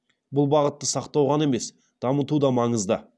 бұл бағытты сақтау ғана емес дамыту да маңызды